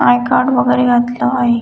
I-card वगेरे घातलं आहे.